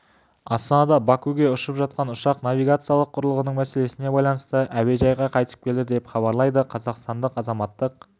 астанадан бакуге ұшып шыққан ұшақ навигациялық құрылғының мәселесіне байланысты әуежайға қайтып келді деп хабарлайды қазақстанның азаматтық